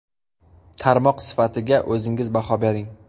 Tarmoq sifatiga o‘zingiz baho bering.